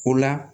O la